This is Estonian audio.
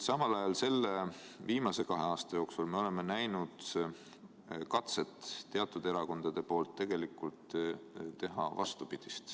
Samal ajal selle viimase kahe aasta jooksul me oleme näinud teatud erakondade katset tegelikult teha vastupidist.